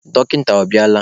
Dọkịta ọ bịala?